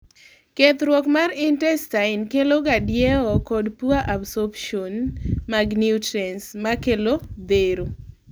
kethruok mar intestine keloga diewo kod poor absorption mga nutrients, makelo thero